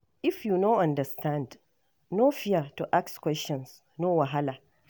If you no understand, no fear to ask questions, no wahala.